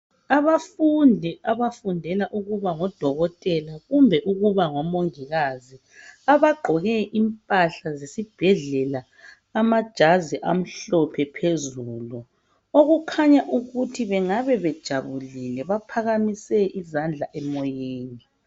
Abafundi abafundela ukuba ngodokotela kumbe ukuba ngomongikazi, abagqoke impahla zesibhedlela, amajazi amhlophe phezulu. Okukhanya ukuthi bangabe bejabulile, baphakamise izandla emoyeni.